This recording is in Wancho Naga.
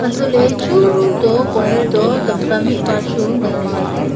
untoh ley chuto corner tamta mihpa chu nganley tailey.